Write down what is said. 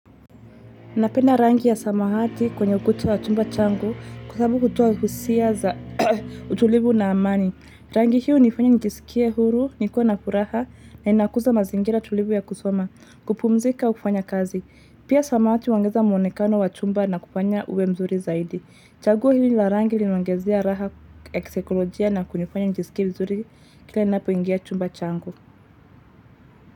Napenda rangi ya samawati kwenye ukuta wa chumba changu kwa sababu hutoa husia za utulivu na amani. Rangi hiyo hunifanya nijisikie huru, nikuwa na furaha, na inakuza mazingira tulivu ya kusoma, kupumzika hufanya kazi. Pia samahati huongeza mwonekano wa chumba na kufanya uwe mzuri zaidi. Chaguo hili la rangi linaongezea raha eksekolojia na kunifanya nijisikie mzuri kila ninapoingia chumba changu.